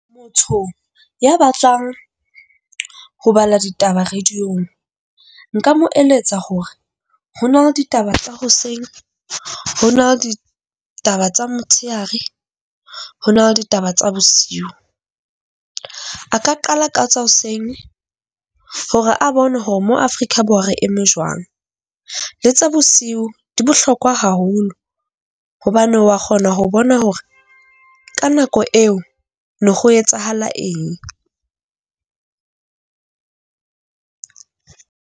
Motho ya batlang ho bala ditaba radio-ng nka mo eletsa hore ho na le ditaba tsa hoseng. Ho na le di taba tsa motshehare. Ho na le ditaba tsa bosiu. A ka qala ka tsa hoseng hore a bone hore mo Afrika Borwa re eme jwang. Le tsa bosiu di bohlokwa haholo hobane wa kgona ho bona hore ka nako eo ne ho etsahala eng.